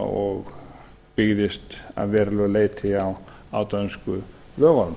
og byggðist að verulegu leyti á dönsku lögunum